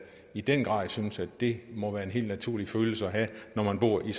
i den grad synes at det må være en helt naturlig følelse at have når man bor i